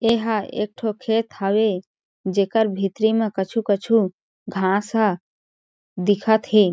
एहा एक ठो खेत हवे जेकर भीतरी में कछु-कछु घास ह दिखत हे।